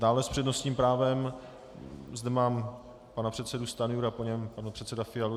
Dále s přednostním právem zde mám pana předsedu Stanjuru a po něm pana předsedu Fialu.